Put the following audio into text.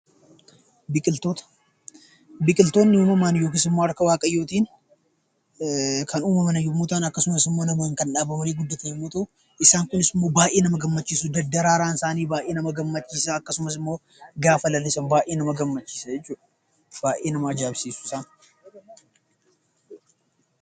Biqiltoota Biqiltoonni uumamaan yookiis immoo harka Waaqayyootiin kan uumaman yommuu ta'an akkasumas namoonni kan dhaaban waliin guddatan yommuu ta'u, isaan kunis immoo baay'ee nama gammachiisu. Daddaraaraan isaanii baay'ee nama gammachiisa. Akkasumas immoo gaafa lalisan baay'ee nama gammachiisa jechuu dha. Baay'ee nama ajaa'ibsiisa!